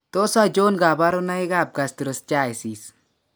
Tos achon kabarunaik ab Gastroschisis ?